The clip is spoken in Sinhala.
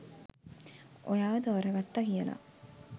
ඔයාව තෝරගත්තා කියලා.